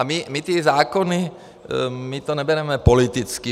A my ty zákony, my to nebereme politicky.